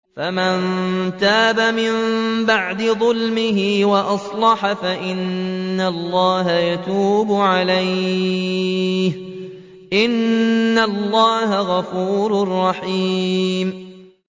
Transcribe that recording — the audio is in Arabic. فَمَن تَابَ مِن بَعْدِ ظُلْمِهِ وَأَصْلَحَ فَإِنَّ اللَّهَ يَتُوبُ عَلَيْهِ ۗ إِنَّ اللَّهَ غَفُورٌ رَّحِيمٌ